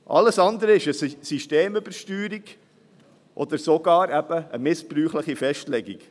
Alles andere ist eine Systemübersteuerung oder sogar eben eine missbräuchliche Festlegung.